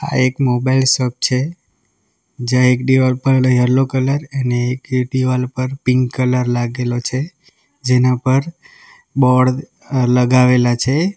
આ એક mobile shop છે જ્યાં એક દિવાલ પર યલો કલર અને એક દિવાલ પર પિંક કલર લાગેલો છે જેના પર બોર્ડ લગાવેલા છે.